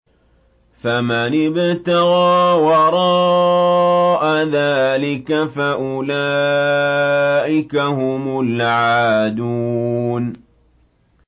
فَمَنِ ابْتَغَىٰ وَرَاءَ ذَٰلِكَ فَأُولَٰئِكَ هُمُ الْعَادُونَ